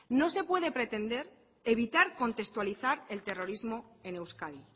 no se puede pretender evitar contextualizar el terrorismo en euskadi